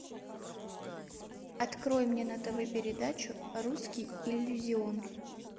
открой мне на тв передачу русский иллюзион